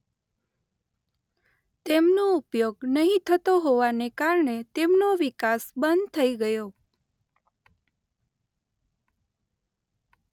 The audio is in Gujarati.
તેમનો ઉપયોગ નહીં થતો હોવાને કારણે તેમનો વિકાસ બંધ થઇ ગયો.